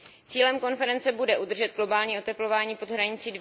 Cílem konference bude udržet globální oteplování pod hranicí